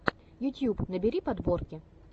ютьюб набери подборки